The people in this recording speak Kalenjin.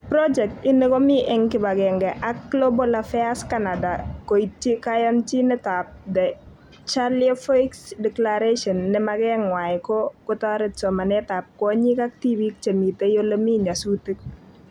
Project ini Komi eng kibagenge ak Global Affairs Canada koityi koyonjinetab The Charlevoix declaration ne maket ng'wa ko kotoret somanetab kwonyik ak tibiik che mitei olemii nyasutik